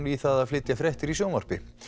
í að flytja fréttir í sjónvarpi